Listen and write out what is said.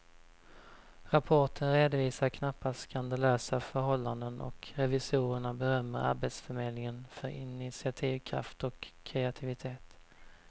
Rapporten redovisar knappast skandalösa förhållanden och revisorerna berömmer arbetsförmedlingen för initiativkraft och kreativitet.